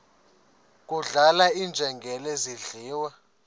kudlala iinjengele zidliwa